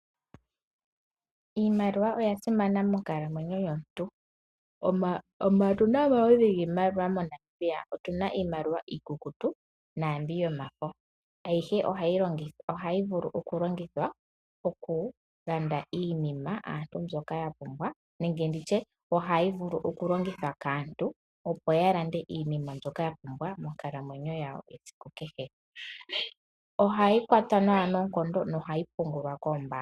Iimaliwa oyasimana monkalamwenyo yomuntu. Otuna omaludhi giimaliwa moNamibia. Otuna iimaliwa iikukutu oshowo yomafo ayihe ohayi vulu okulongithwa okulanda iinima yaantu mbyoka ya pumbwa ,oha yi vulu woo okulongithwa kaantu opo yavule oku landa iinima mbyoka ya pumbwa monkalamwenyo yawo. Ohayi kwatwa nawa noonkondo. Oha yi pungulwa koombaanga.